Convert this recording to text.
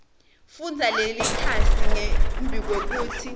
fundza lelikhasi ngembikwekutsi